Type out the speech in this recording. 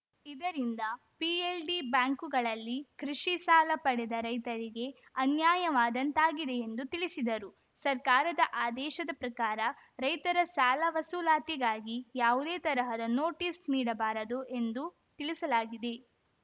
ಇದರಿಂದ ಪಿಎಲ್‌ಡಿ ಬ್ಯಾಂಕುಗಳಲ್ಲಿ ಕೃಷಿ ಸಾಲ ಪಡೆದ ರೈತರಿಗೆ ಅನ್ಯಾಯವಾದಂತಾಗಿದೆ ಎಂದು ತಿಳಿಸಿದರು ಸರ್ಕಾರದ ಆದೇಶದ ಪ್ರಕಾರ ರೈತರ ಸಾಲ ವಸೂಲಾತಿಗಾಗಿ ಯಾವುದೇ ತರಹದ ನೋಟಿಸ್‌ ನೀಡಬಾರದು ಎಂದು ತಿಳಿಸಲಾಗಿದೆ